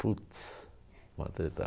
Putz, vou atretar.